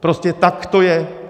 Prostě tak to je.